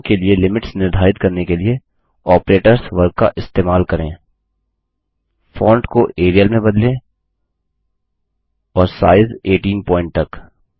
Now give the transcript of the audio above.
summation के लिए limits निर्धारित करने के लिए आपरेटर्स वर्ग का इस्तेमाल करें फ़ॉन्ट को एरियल में बदलें और साइज़ 18 पॉइंट तक